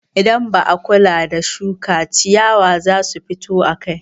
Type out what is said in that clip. Idan ba a kula da shuka, ciyawa za su fito akai.